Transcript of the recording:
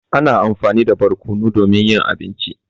Ana amfani da barƙonu domin yin abinci.